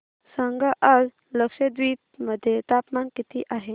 सांगा आज लक्षद्वीप मध्ये तापमान किती आहे